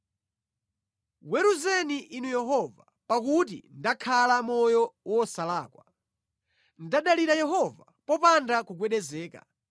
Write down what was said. Weruzeni Inu Yehova pakuti ndakhala moyo wosalakwa. Ndadalira Yehova popanda kugwedezeka.